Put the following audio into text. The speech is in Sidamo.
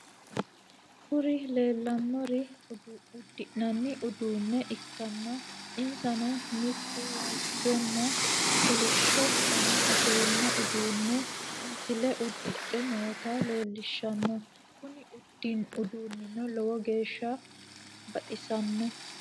Kuri leellannori uddi'nnanni uduunne ikkanna insano mitu waajjonna kolishsho dana afirinno uduunne misile udidhe noota leellishanno. kuni uduunnino lowo geeshsa baxissanno.